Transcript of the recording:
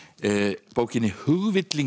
bókinni